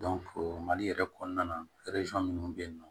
mali yɛrɛ kɔnɔna na minnu bɛ yen nɔ